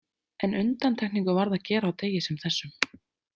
En undantekningu varð að gera á degi sem þessum.